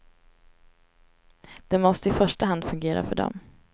Det måste i första hand fungera för dem.